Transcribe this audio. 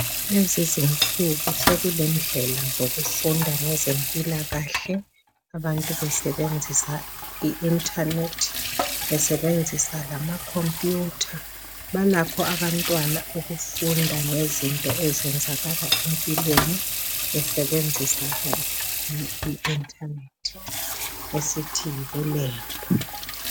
Lezi insuku sekule ndlela zokufunda ngezempilakahle abantu besebenzisa i internet besebenzisa lama khompuyutha balakho abantwana ukufunda ngezinto ezenzakala empilweni besebenzisa i internet esithi yibulembu.